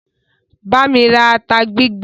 Bámi ra ata gbígbẹ!